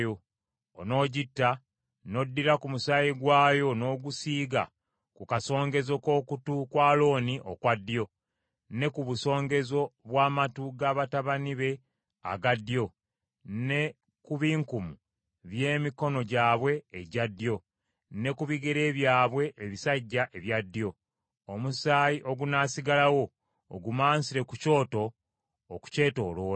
onoogitta, n’oddira ku musaayi gwayo n’ogusiiga ku kasongezo k’okutu kwa Alooni okwa ddyo, ne ku busongezo bw’amatu ga batabani be aga ddyo, ne ku binkumu by’emikono gyabwe egya ddyo, ne ku bigere byabwe ebisajja ebya ddyo; omusaayi ogunaasigalawo ogumansire ku kyoto okukyetooloola.